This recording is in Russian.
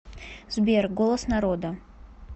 сбер голос народа